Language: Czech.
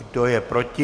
Kdo je proti?